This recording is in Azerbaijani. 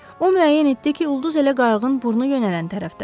O müəyyən etdi ki, ulduz elə qayığın burnu yönələn tərəfdədir.